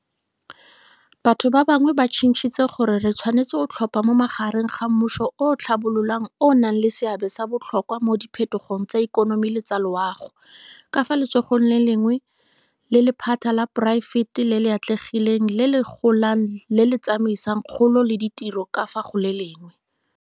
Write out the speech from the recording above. Batho bangwe ba tshitshintse gore re tshwanetse go tlhopha magareng ga mmuso o o tlhabololang o o nang le seabe sa botlhokwa mo diphetogong tsa ikonomi le tsa loago, ka fa letsogong le lengwe, le lephata la poraefete le le atlegileng le le golang le le tsamaisang kgolo le ditiro ka fa go le lengwe.